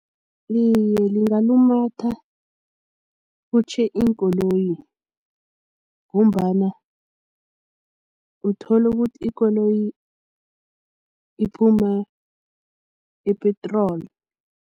Iye, lingalumatha kutjhe iinkoloyi ngombana utholukuthi ikoloyi iphuma ipetroli.